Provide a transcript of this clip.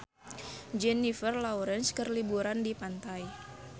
Jennifer Lawrence keur liburan di pantai